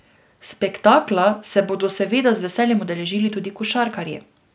Spektakla se bodo seveda z veseljem udeležili tudi košarkarji.